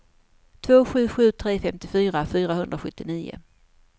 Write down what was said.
två sju sju tre femtiofyra fyrahundrasjuttionio